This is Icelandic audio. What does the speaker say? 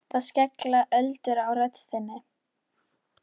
Það skella öldur á rödd þinni.